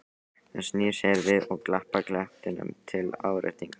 Hann snýr sér við og klappar klettinum til áréttingar.